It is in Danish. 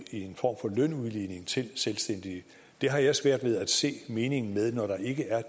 en form for lønudligning til selvstændige har jeg svært ved at se meningen med når der ikke er